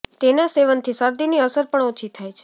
તેના સેવનથી શરદીની અસર પણ ઓછી થાય છે